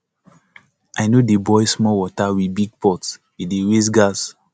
i no dey boil small water with big pot e dey waste gas